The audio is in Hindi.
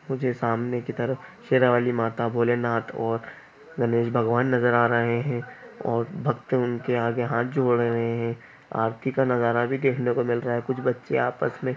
मुझे सामने की तरफ शेरावाली माता भोलेनाथ और गणेश भगवान नजर आ रहे हैं और भक्त उनके आगे हाथ जोड़ रहे हैं आरती का नजारा भी देखने को मिल रहा है कुछ बच्चे आपस में--